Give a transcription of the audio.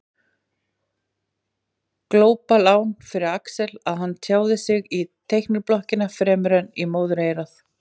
Glópalán fyrir Axel að hann tjáir sig í teikniblokkina fremur en móðureyrað.